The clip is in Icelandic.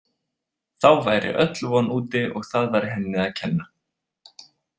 Þá væri öll von úti og það væri henni að kenna.